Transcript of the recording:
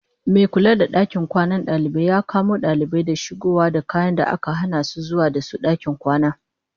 Mai kula da dakin kwanan dalibai ya kamo dalibai da shigowa da kayan da aka hana zuwa da su dakin kwana.